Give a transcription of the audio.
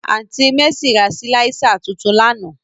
Aunti Mercy ra silạisa tuntun làná.